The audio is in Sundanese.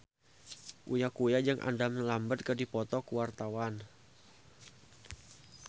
Uya Kuya jeung Adam Lambert keur dipoto ku wartawan